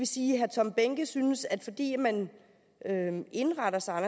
sige at herre tom behnke synes at det er fordi man indretter sig